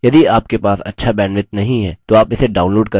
यदि आपके पास अच्छा bandwidth नहीं है तो आप इसे download करके देख सकते हैं